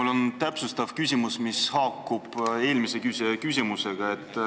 Mul on täpsustav küsimus, mis haakub eelmise küsija küsimusega.